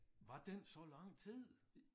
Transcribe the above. Var den så lang tid?